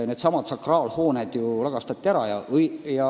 Sakraalhooned lagastati ära.